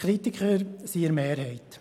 Die Kritiker sind in der Mehrheit.